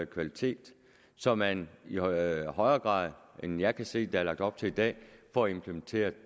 kvalitet så man i højere højere grad end jeg kan se der er lagt op til i dag får implementeret